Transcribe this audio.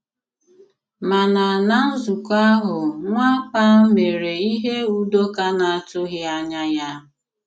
Màna na nzụ̀kọ̀ ahụ̀ Nwàpà mèré ihe Udòkà na-àtụ̀ghi ànyà ya.